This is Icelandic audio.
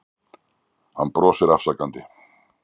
Hann brosir afsakandi.